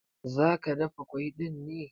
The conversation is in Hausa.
Zaka dafa ƙwai ɗin ne?